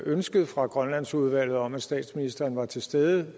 ønsket fra grønlandsudvalget om at statsministeren var til stede